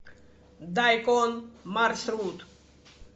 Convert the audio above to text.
дайкон маршрут